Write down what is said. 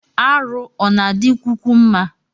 Arụ ọna adi kwukwu mma?